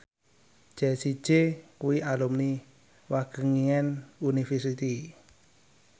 Jessie J kuwi alumni Wageningen University